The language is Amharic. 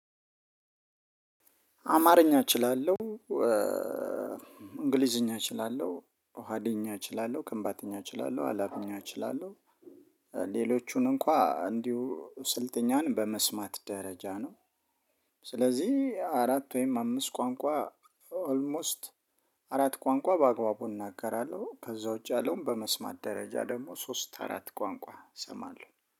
አማርኛ እችላለሁ። እንግሊዝኛ እችላለሁ ሀዲኛ እችላለሁ ከንባተኛ እችላለሁ አላብኛ እችላለሁ። ሌሎቹን እንኳን እንዲሁ ስልጥኛን በመስማት ደረጃ ነው። ስለዚህ አራት ወይም አምስት ቋንቋ ኦልሞስት አራት ቋንቋ በአግባቡ እናገራለሁ። ከዛ ውጪ ያለውን በመስማት ደረጃ ደግሞ ሶስት አራት ቋንቋ እሰማለሁ።